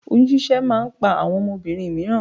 Oyún ṣíṣẹ́ máa ń pa àwọn obìnrin mìíràn